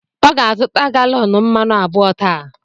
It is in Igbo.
Ọ ga-azụta galọn mmanụ abụọ taa.